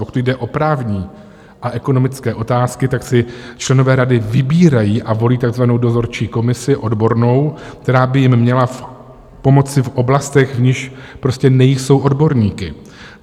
Pokud jde o právní a ekonomické otázky, tak si členové rady vybírají a volí takzvanou dozorčí komisi odbornou, která by jim měla pomoci v oblastech, v nichž prostě nejsou odborníky.